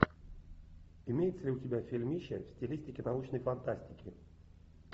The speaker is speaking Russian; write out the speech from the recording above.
имеется ли у тебя фильмище в стилистике научной фантастики